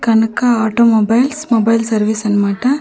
కనక automobiles mobile service అన్మాట.